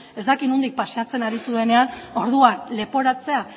ez dakit nondik paseatzen aritu denean orduan leporatzea